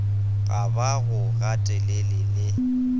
ga ba go gatelele le